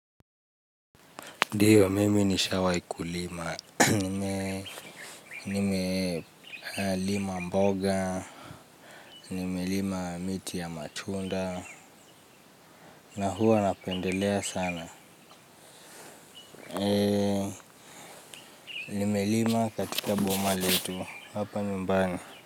Ndiyo, mimi nishawai kulima, nimelima mboga, nimelima miti ya matunda, na huwa napendelea sana. Nimelima katika boma letu, hapa nyumbani.